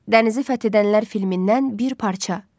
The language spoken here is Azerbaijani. Dənizi fəth edənlər filmindən bir parça.